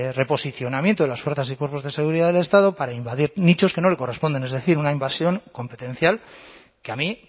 reposicionamiento de las fuerzas y cuerpos de seguridad del estado para invadir nichos que no le corresponden es decir una invasión competencial que a mí